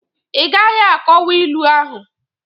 I gaghi akọwa ilu ahụ!